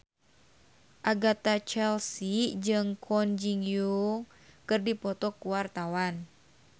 Agatha Chelsea jeung Kwon Ji Yong keur dipoto ku wartawan